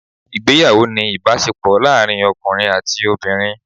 Ìgbéyàwó ni ìbásepò láàrin ọkùnrin àti obìnrin